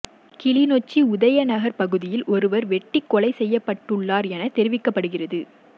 கிளிநொச்சி உதயநகர் பகுதியில் ஒருவர் வெட்டிக் கொலை செய்யப்பட்டுள்ளார் எனத் தெரிவிக்கப்படுகிதறது